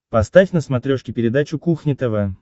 поставь на смотрешке передачу кухня тв